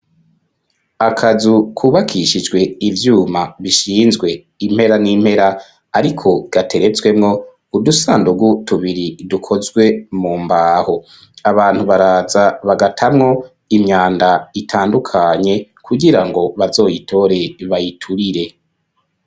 Akazu kubakishijwe ivyuma bishinzwe impera n'impera ariko gateretswemo udusandugu tubiri dukozwe mu mbaho .Abantu baraza bagatamwo imyanda itandukanye kugirango bazoyitore bayiturire.